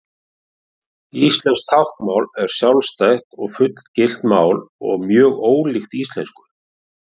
Íslenskt táknmál er sjálfstætt og fullgilt mál og mjög ólíkt íslensku.